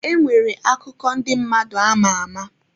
E nwere akụkọ ndị mmadụ ama ama.